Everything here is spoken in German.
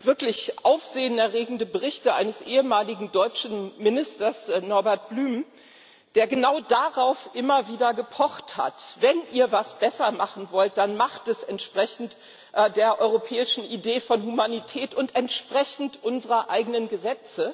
wirklich aufsehenerregende Berichte eines ehemaligen deutschen Ministers, Norbert Blüm, der genau darauf immer wieder gepocht hat Wenn ihr etwas besser machen wollt, dann macht es entsprechend der europäischen Idee von Humanität und entsprechend unseren eigenen Gesetzen.